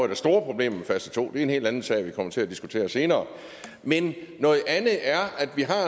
der store problemer med fase to det en helt anden sag vi kommer til at diskutere senere men noget andet er at vi